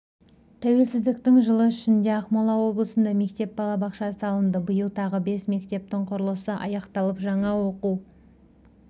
тәуелсіздіктің жылы ішінде ақмола облысында мектеп балабақша салынды биыл тағы бес мектептің құрылысы аяқталып жаңа оқу